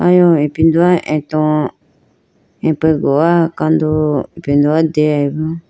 Ayew ipindoya ato apegowa kandu ipindolo deyayi bi.